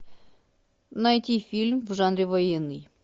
найти фильм в жанре военный